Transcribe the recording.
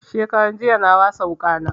Shekaran jiya na wasa wuƙa na